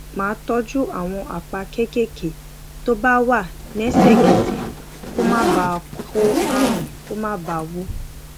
máa tójú àwọn àpá kéékèèké tó bá wà ní ẹsèkẹsè kó má bàa kó àrùn kó má bàa wú